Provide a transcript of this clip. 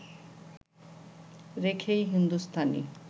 রেখেই হিন্দুস্তানি